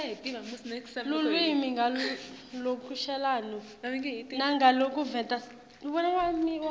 lulwimi ngalokushelelako nangalokuveta